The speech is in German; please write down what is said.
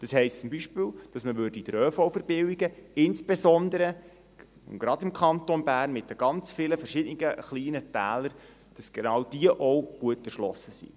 Das heisst zum Beispiel, dass man den ÖV verbilligen würde, insbesondere und gerade im Kanton Bern mit den ganz vielen verschiedenen kleinen Tälern, damit genau diese auch gut erschlossen sind.